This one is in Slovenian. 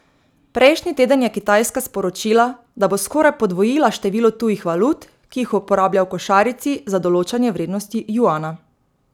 Prejšnji teden je Kitajska sporočila, da bo skoraj podvojila število tujih valut, ki jih uporablja v košarici za določanje vrednosti juana.